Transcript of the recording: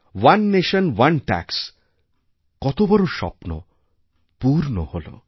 one nation one tax কত বড় স্বপ্ন পূর্ণ হল